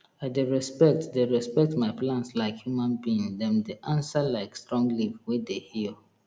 i dey respect dey respect my plants like human being dem dey answer like strong leaf wey dey heal